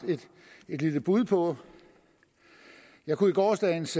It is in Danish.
et lille bud på jeg kunne i gårsdagens